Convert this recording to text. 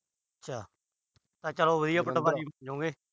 ਅੱਛਾ। ਚਲੋ ਵੀ